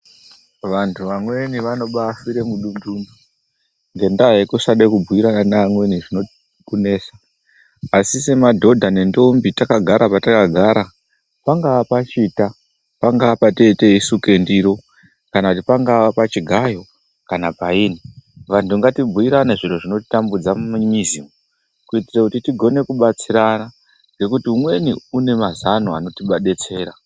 Vantu vamweni vanobafira mudundu ngendaa yekusada kubhuira neamweni zvinokunesa ,asi semadhodha nendombi takagara patakagara pangaaa pachita ,pangaa pateteisuke ndiro ,kana kuti pangaa pachigayo kana paini, antu ngatibhuirane zvinotambudza mumizi kuti tigone kubatsirana nekuti umweni unomazano anotidetsera.